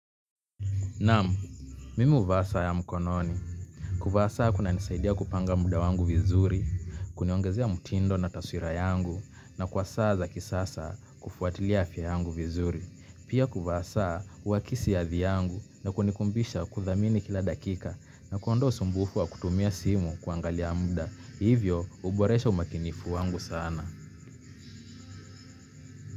Naam, mimi huvaa saa ya mkononi. Kuvaa saa kunanisaidia kupanga muda wangu vizuri, kuniongezea mutindo na taswira yangu na kwa saa za kisasa kufuatilia afya yangu vizuri. Pia kuvaa saa huakisi hadhi yangu na kunikumbusha kuthamini kila dakika na kuondoa usumbufu wa kutumia simu kuangalia muda. Hivyo huboresha umakinifu wangu sana.